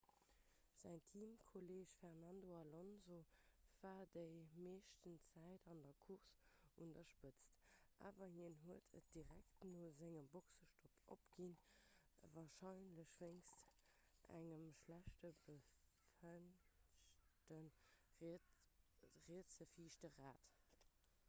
säin teamkolleeg fernando alonso war déi meescht zäit vun der course un der spëtz awer hien huet et direkt no sengem boxestopp opginn warscheinlech wéinst engem schlecht befestegte rietse viischte rad